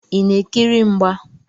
Ị na-ekiri mgba?